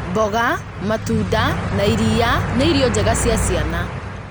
Mboga, matunda, na iria nĩ irio njega cia ciana.